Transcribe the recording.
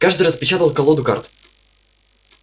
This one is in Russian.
каждый распечатал колоду карт